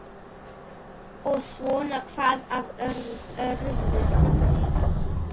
Og svona hvað af öðru.